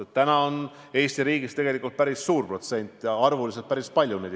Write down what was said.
Eesti riigis on selliseid inimesi tegelikult päris suur protsent ja arvuliselt ka.